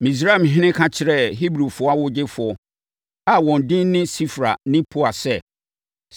Misraimhene ka kyerɛɛ Hebrifoɔ awogyefoɔ a wɔn din ne Sifra ne Pua sɛ,